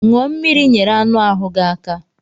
Ṅụọ mmiri ị nyere anụ ahu gị aka.